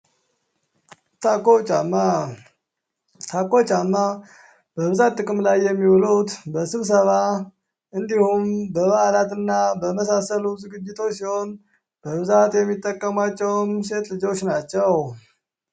ታኮ ጫማ ታኮ ጫማ በብዛት ጥቅም ላይ የሚውሉት በስብሰባ በበዓላት እና በመሳሰሉት ዝግጅቶች ሲሆን በብዛት የሚጠቅሟቸውም ሴት ልጆች ናቸው።